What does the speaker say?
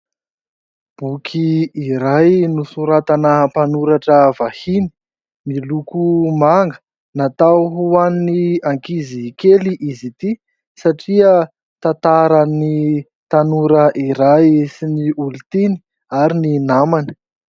Boky iray nosoratana mpanoratra vahiny miloko manga natao ho an'ny ankizikely izy ity satria tantaran'ny tanora iray sy ny olontiany ary ny namany.